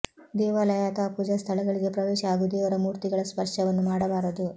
ದೇವಾಲಯ ಅಥವಾ ಪೂಜಾ ಸ್ಥಳಗಳಿಗೆ ಪ್ರವೇಶ ಹಾಗೂ ದೇವರ ಮೂರ್ತಿಗಳ ಸ್ಪರ್ಶವನ್ನು ಮಾಡಬಾರದು